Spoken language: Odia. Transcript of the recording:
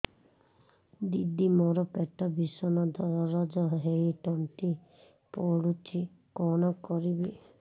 ଦିଦି ମୋର ପେଟ ଭୀଷଣ ଦରଜ ହୋଇ ତଣ୍ଟି ପୋଡୁଛି କଣ କରିବି